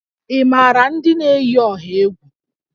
Ị maara ndị na-eyi ọha egwu?